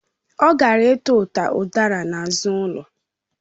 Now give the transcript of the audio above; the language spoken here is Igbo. Ha gara ituta udara n'azụ ụlọ